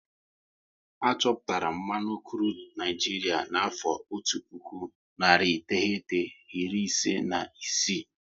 A chọpụtara mmanụ krudu n'Naijiria n'afọ otu puku, nari iteghete, iri ise na isii